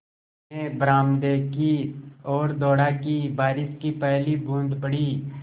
मैं बरामदे की ओर दौड़ा कि बारिश की पहली बूँद पड़ी